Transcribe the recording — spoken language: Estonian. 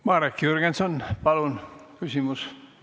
Marek Jürgenson, palun küsimus!